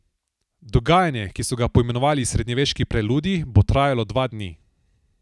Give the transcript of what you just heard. Dogajanje, ki so ga poimenovali Srednjeveški preludij, bo trajalo dva dni.